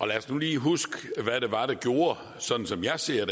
lad os nu lige huske hvad det var sådan som jeg ser